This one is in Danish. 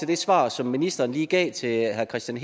det svar som ministeren lige gav til herre kristian